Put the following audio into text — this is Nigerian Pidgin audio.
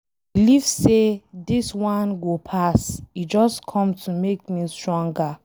I believe say dis one go pass, e just come to make me stronger.